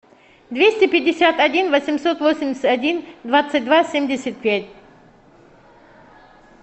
двести пятьдесят один восемьсот восемьдесят один двадцать два семьдесят пять